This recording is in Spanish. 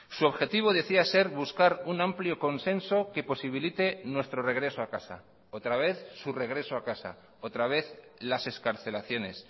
su objetivo decía ser buscar un amplio consenso que posibilite nuestro regreso a casa otra vez su regreso a casa otra vez las excarcelaciones